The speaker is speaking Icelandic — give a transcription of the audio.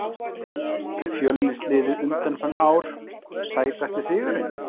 fjölnis liðið undanfarin ár Sætasti sigurinn?